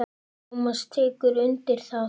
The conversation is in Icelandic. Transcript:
Tómas tekur undir það.